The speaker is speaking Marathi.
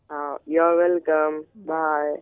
हा युअर वेलकम बाय